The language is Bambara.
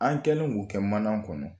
An kɛlen k'o kɛ mana kɔnɔ